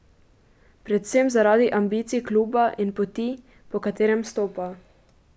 Predvsem zaradi ambicij kluba in poti, po katerem stopa.